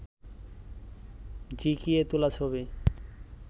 ঝিঁকিয়ে তোলা ছবি